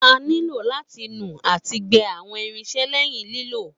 A nílò láti nu àti gbẹ àwọn irinsẹ́ lẹ́yìn lílò